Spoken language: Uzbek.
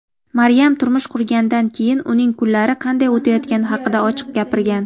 Maryam turmush qurganidan keyin uning kunlari qanday o‘tayotgani haqida ochiq gapirgan.